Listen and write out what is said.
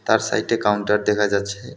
তার সাইটে কাউন্টার দেখা যাচ্ছে।